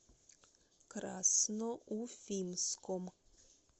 красноуфимском